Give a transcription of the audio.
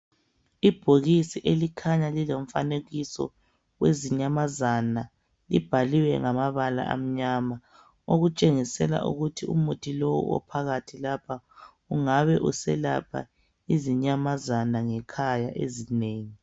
Ibhokisi elikhanya lilomfanekiso wezinyamazana libhaliwe ngamabala amnyama okutshengisela ukuthi umuthi lowu ophakathi lapha ungabe uselapha izinyamazana ngekhaya ezinengi.